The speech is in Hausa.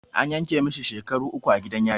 An yanke masa shekaru uku a gidan yari